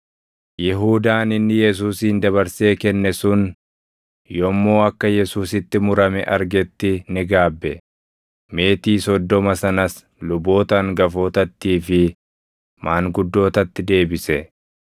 Yihuudaan inni Yesuusin dabarsee kenne sun yommuu akka Yesuusitti murame argetti ni gaabbe; meetii soddoma sanas luboota hangafootattii fi maanguddootatti deebise.